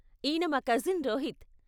ఈన మా కజిన్ రోహిత్.